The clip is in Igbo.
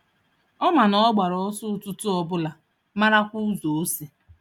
Ọ ma na ọ gbara ọsọ ụtụtụ Obụla marakwa ụzọ osi.